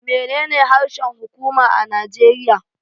Menene harshen huƙuma na Najeriya.